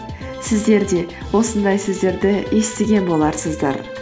сіздер де осындай сөздерді естіген боларсыздар